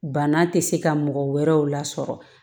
Bana tɛ se ka mɔgɔ wɛrɛw lasɔrɔ